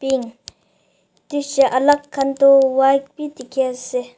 pink tsha alak khan tu white bi dikhiase.